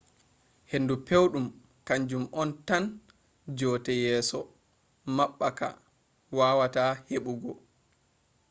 hendu pewɗum kaanjum on tan joote yeeso maɓɓaka wawata heɓɓugo